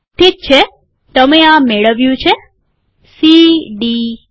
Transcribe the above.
ઠીક છે તમે આ મેળવ્યું છે સી ડી ઈ